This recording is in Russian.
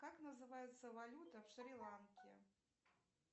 как называется валюта в шри ланке